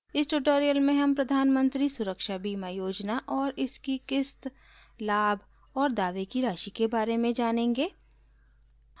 इस ट्यूटोरियल में हम प्रधान मंत्री सुरक्षा बीमा योजना और इसकी क़िस्त लाभ और दावे की राशि के बारे में सीखेंगे